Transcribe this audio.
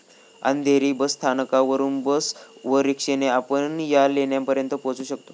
अंधेरी स्थानकावरून बस व रिक्षाने आपण या लेण्यांपर्यंत पोहचू शकतो.